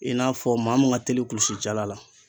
I n'a fɔ maa mun ka teli kulusi jala la